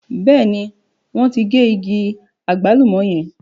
Bẹ́ẹ̀ ní, wọ́n ti gé igi àgbálùmọ̀ yẹn.